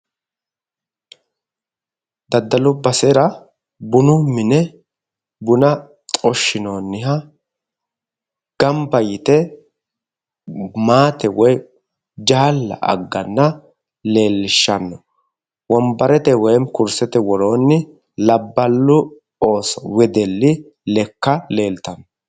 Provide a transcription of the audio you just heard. Daddalu basera bunu mine bunna xorshinoonniha gamba yite maatte woyi jaalla agganna leelishano wonbarete woyi kursete woroonni labballu ooso wedeli lekka leeltano.